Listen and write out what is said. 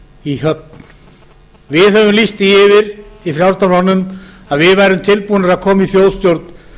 í höfn við höfum lýst því yfir í frjálslynda flokknum að við værum tilbúnir að koma í þjóðstjórn